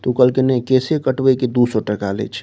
तू कहल के ने केशे कटबे के दू सौ टका लेेय छै।